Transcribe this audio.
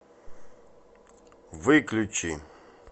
выключи